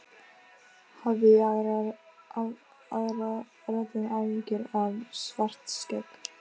Hafði í aðra röndina áhyggjur af Svartskegg.